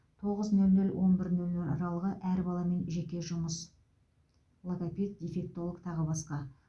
тоғыз нөл нөлден он бір нөл нөл аралығы әр баламен жеке жұмыс логопед дефектолог тағы басқа